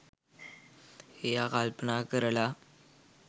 එයා කල්පනා කරල